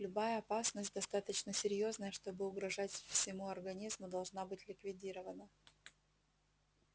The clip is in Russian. любая опасность достаточно серьёзная чтобы угрожать всему организму должна быть ликвидирована